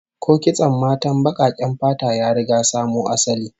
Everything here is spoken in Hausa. Ko kitson matan bakaken fata ya riga samo asali?